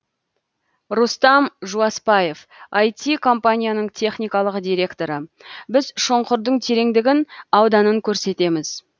рустам жуаспаев іт компанияның техникалық директоры біз шұңқырдың тереңдігін ауданын көрсетеміз